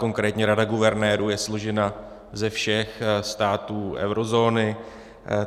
Konkrétní Rada guvernérů je složena ze všech států eurozóny.